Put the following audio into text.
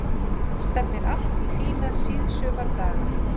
Stefnir allt í fína síðsumardaga